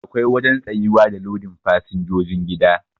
Akwai wajen tsayuwa da lodin fasinjojin gida